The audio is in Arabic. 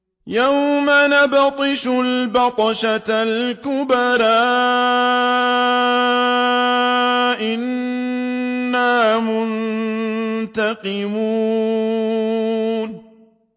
يَوْمَ نَبْطِشُ الْبَطْشَةَ الْكُبْرَىٰ إِنَّا مُنتَقِمُونَ